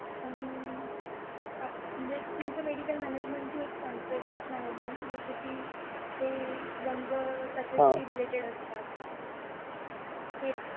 आणि तुमचा एक medical management तुम्ही येतो एक सांगतोय की waste management जसे की ते रंग त्याच्याशी related असतात.